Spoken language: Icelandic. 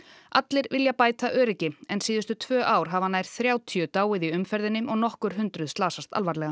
allir vilja bæta öryggi en síðustu tvö ár hafa nær þrjátíu dáið í umferðinni og nokkur hundruð slasast alvarlega